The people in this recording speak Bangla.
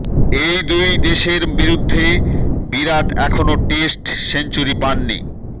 এই দুই দেশের বিরুদ্ধে বিরাট এখনও টেস্ট সেঞ্চুরি পাননি